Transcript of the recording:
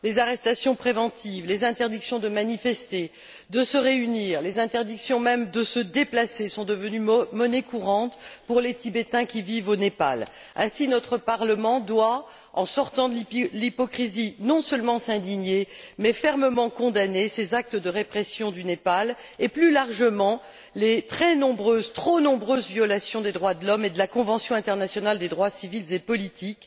Les arrestations préventives, les interdictions de manifester et de se réunir, les interdictions de se déplacer, même, sont devenues monnaie courante pour les Tibétains qui vivent au Népal. Ainsi, notre Parlement doit, en sortant de l'hypocrisie, non seulement s'indigner, mais aussi fermement condamner ces actes de répression du Népal et, plus largement, les très nombreuses, trop nombreuses violations des droits de l'homme et de la convention internationale des droits civils et politiques.